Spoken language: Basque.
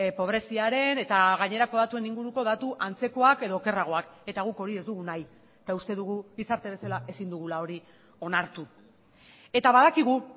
pobreziaren eta gainerako datuen inguruko datu antzekoak edo okerragoak eta guk hori ez dugu nahi eta uste dugu gizarte bezala ezin dugula hori onartu eta badakigu